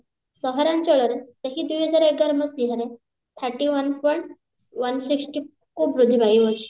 ସହରାଞ୍ଚଳରେ ଦୁଇ ହଜାର ଏଗାର ମସିହାରେ thirty one point one six କୁ ବୃଦ୍ଧି ପାଉଅଛି